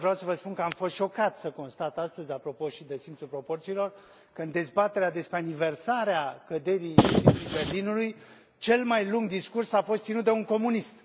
De altfel, vreau să vă spun că am fost șocat să constat astăzi, apropo și de simțul proporțiilor, că în dezbaterea despre aniversarea căderii Zidului Berlinului, cel mai lung discurs a fost ținut de un comunist.